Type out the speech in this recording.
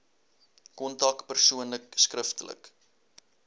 kontak persoonlik skriftelik